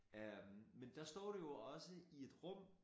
Øh men der står du jo også i et rum